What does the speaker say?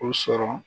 O sɔrɔ